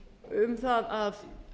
um það að